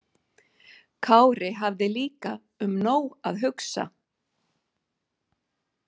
Kári hafði líka um nóg að hugsa.